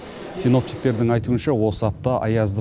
синоптиктердің айтуынша осы апта аязды